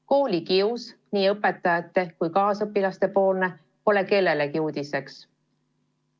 Koolikius nii õpetajate kui ka kaasõpilaste poolt pole kellelegi uudiseks.